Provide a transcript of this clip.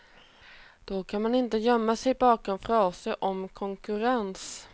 Då kan man inte gömma sig bakom fraser om konkurrens.